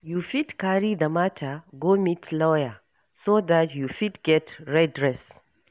You fit carry the matter go meet lawyer so dat you fit get redress